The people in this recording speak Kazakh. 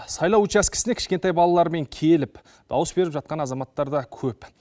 сайлау учаскесіне кішкентай балаларымен келіп дауыс беріп жатқан азаматтар да көп